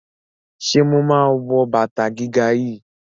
Ṣé mà á wọ bàtà gíga yìí?